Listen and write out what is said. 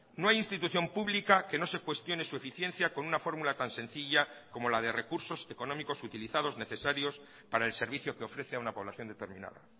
no hay institución pública que no se cuestione su eficiencia con una formula tan sencilla como la de recursos económicos utilizados necesarios para el servicio que ofrece a una población determinada